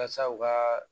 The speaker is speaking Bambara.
Yasa u ka